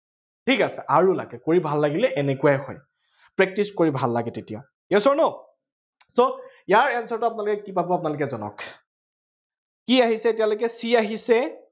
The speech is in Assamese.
ঠিক আছে, আৰু লাগে। কৰি ভাল লাগিলে এনেকুৱাই হয়। practice কৰি ভাল লাগে তেতিয়া, yes or no so ইয়াৰ answer টো আপোনালোকে কি পাব আপোনালোকে জনাওক। কি আহিছে, এতিয়ালৈকে c আহিছে।